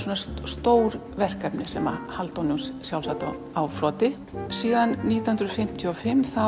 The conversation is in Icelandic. stór verkefni sem halda honum sjálfsagt á floti síðan nítján hundruð fimmtíu og fimm